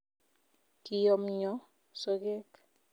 Kiyomyo sogek